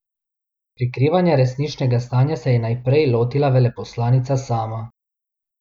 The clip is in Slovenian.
Prikrivanja resničnega stanja se je najprej lotila veleposlanica sama.